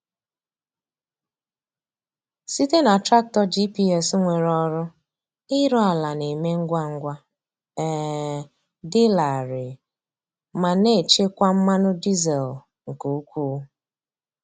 Site na traktọ GPS nwere ọrụ, ịrụ ala na-eme ngwa ngwa, um dị larịị, ma na-echekwa mmanụ dizel nke ukwuu.